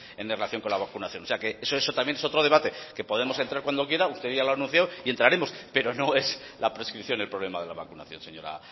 es relación con la vacunación o sea que ese es otro debate que podemos entrar cuando quiera usted ya lo ha anunciado y entraremos pero no es la prescripción el problema de la vacunación señora